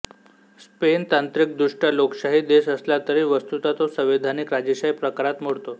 Spain तांत्रिकदृष्ट्या लोकशाही देश असला तरी वस्तुतः तो संवैधानिक राजेशाही प्रकारात मोडतो